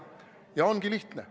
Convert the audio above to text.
Ja ongi lihtne.